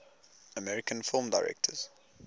american film directors